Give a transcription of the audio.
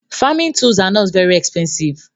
Framing tools are not very expensive